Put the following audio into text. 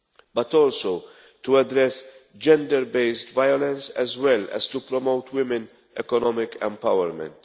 but also to address gender based violence, as well as to promote women's economic empowerment.